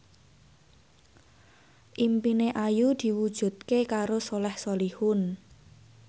impine Ayu diwujudke karo Soleh Solihun